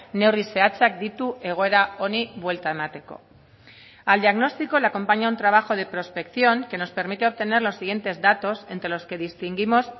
neurri zehatzak ditu egoera honi buelta emateko al diagnóstico le acompaña un trabajo de prospección que nos permite obtener los siguientes datos entre los que distinguimos